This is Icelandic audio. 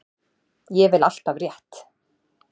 Ég vel alltaf rétt.